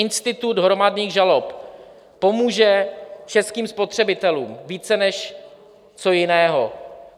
Institut hromadných žalob pomůže českým spotřebitelům více než co jiného.